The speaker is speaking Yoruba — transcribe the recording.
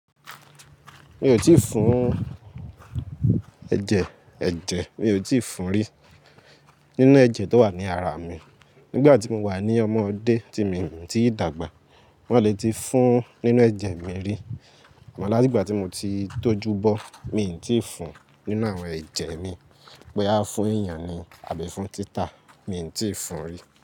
Mi ò tíì fún ẹ̀jẹ̀ ẹ̀jẹ̀, mi ò tíì fún rí nínú ẹ̀jẹ̀ tó wà ní ara mi. Nígbà tí mo wà ní ọmọdé tí mi i tí dàgbà, wọ́n lè ti fún nínú ẹ̀jẹ̀ mi rí. Àmọ́ láti ìgbà tí mo ti tójú bọ́, mi i tíì fún nínú àwọn ẹ̀jẹ̀ mi. Pẹ́ á fún èèyàn ni àbí fún títà, mi ò tíì fún rí.